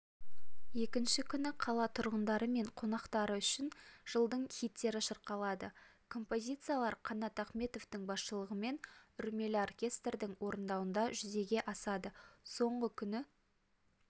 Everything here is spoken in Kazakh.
екінші күні қала тұрғындары мен қонақтары үшін жылдардың хиттері шырқалады композициялар қанат ахметовтің басшылығымен үрлемелі оркестрдің орындауында жүзеге асады соңғы күнгі